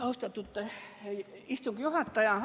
Austatud istungi juhataja!